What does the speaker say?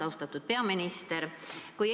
Austatud peaminister!